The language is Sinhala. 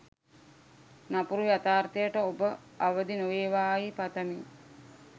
නපුරු යතාර්ථයට ඔබ අවදි නොවේවායි පතමි.